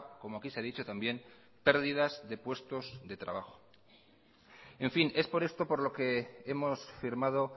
como aquí se ha dicho también pérdidas de puestos de trabajo en fin es por esto por lo que hemos firmado